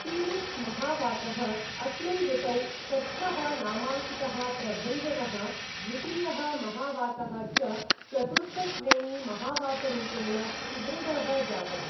Felix महावातः, अस्मिन् ऋतौ षष्ठः नामाङ्कितः प्रभञ्जनः, द्वितीयः महावातः च, चतुर्थश्रेणी महावातरूपेण सुदृढः जातः।